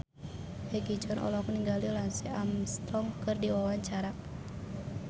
Egi John olohok ningali Lance Armstrong keur diwawancara